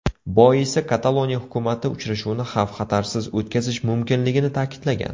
Boisi Kataloniya hukumati uchrashuvni xavf-xatarsiz o‘tkazish mumkinligini ta’kidlagan .